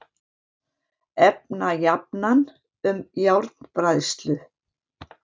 Efnajafnan um járnbræðslu: